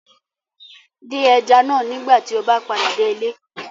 Dín ẹja náà nígbà tí o bá padà dé ilé